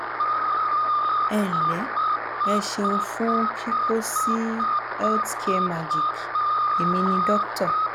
ẹ nle e seun fun kiko si health care magic emi ni doctor